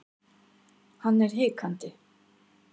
Hann er hikandi.